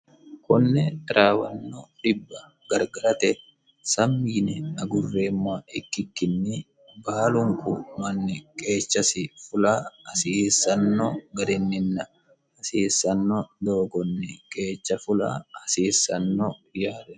konne taraawanno dibba gargarate sammi yine agurreemmoha ikkikkinni baalunku manni qeechasi fula hasiissanno garinninna hasiissanno doogonni qeecha fula hasiissanno yaate.